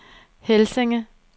Helsinge